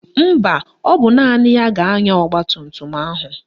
Mba, ọ bụ naanị ya ga-anya ọgbatumtum ahụ